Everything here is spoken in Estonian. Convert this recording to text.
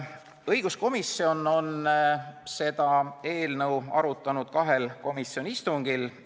Õiguskomisjon on seda eelnõu arutanud kahel komisjoni istungil.